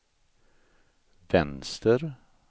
vänster